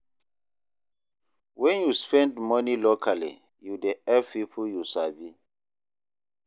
Wen yu spend money locally, yu dey help pipo yu sabi.